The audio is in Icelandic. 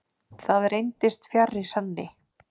Það reyndist fjarri sanni.